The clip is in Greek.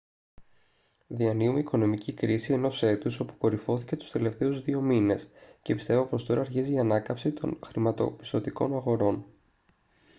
διανύουμε οικονομική κρίση ενός έτους όπου κορυφώθηκε τους τελευταίους δύο μήνες και πιστεύω πως τώρα αρχίζει η ανάκαμψη των χρηματοπιστωτικών αγορών»